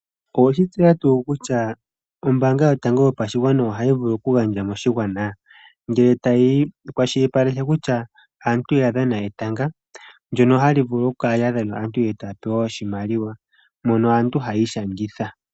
Oweshi tseya tuu kutya ombaanga yotango yopashigwana ohayi vulu oku gandja moshigwana? Ngele tayi kwashilipaleka kutya aantu ya dhana etanga ndyono hali vulu okukala lya dhanwa aantu e taya pewa oshimaliwa mono aantu hayi ishangitha.